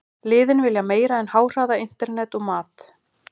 Liðin vilja meira en háhraða internet og mat.